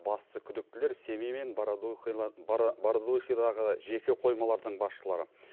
басты күдіктілер семей мен бородулихадағы жеке қоймалардың басшылары